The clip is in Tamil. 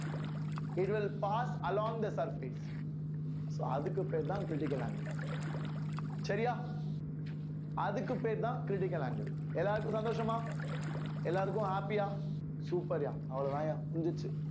it will pass along the surface so அதுக்கு பேர் தான் critical angle சரியா அதுக்கு பேர் தான் critical angle எல்லாருக்கும் சந்தோஷமா எல்லாருக்கும் எல்லாருக்கும் happy ஆ super யா அவ்வளவுதாய்யா முடிஞ்சிருச்சு